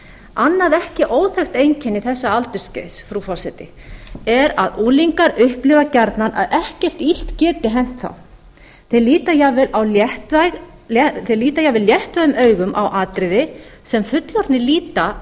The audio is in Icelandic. annað ekki óþekkt einkenni þessa aldursskeiðs frú forseti er að unglingar upplifa gjarnan að ekkert illt geti hent þá að ekkert illt geti hent þá þeir líta jafnvel léttum augum á atriði sem fullorðnir líta